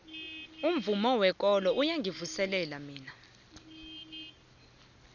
umvumo wekolo uyangivuselela mina